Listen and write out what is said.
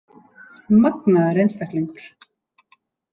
Magnaður einstaklingur!